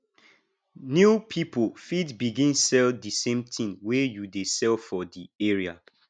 new pipo fit begin sell di same thing wey you dey sell for di area